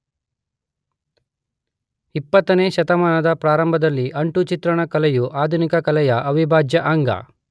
೨೦ ನೇ ಶತಮಾನದ ಪ್ರಾರಂಭದಲ್ಲಿ ಅಂಟು ಚಿತ್ರಣ ಕಲೆಯು ಆಧುನಿಕ ಕಲೆಯ ಅವಿಭಾಜ್ಯ ಅಂಗ